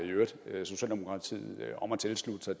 beder socialdemokratiet om at tilslutte sig